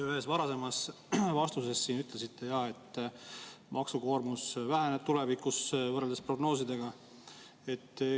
Te ühes varasemas vastuses ütlesite, et maksukoormus tulevikus võrreldes prognoosidega väheneb.